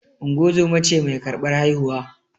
Ungozoma ce mai karɓar haihuwa